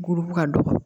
Gorobugu ka dɔgɔ